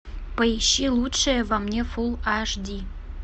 поищи лучшее во мне фулл аш ди